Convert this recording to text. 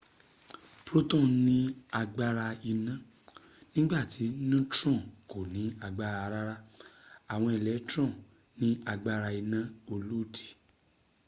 protons ní agbára iná nígbàtí neutron kò ní agbára rárá awon electrons ni aagbara ina olodi